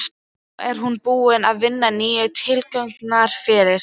Þó er hún búin að vinna nýju tillögurnar fyrir